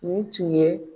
Nin tun ye